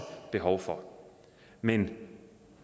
behov for men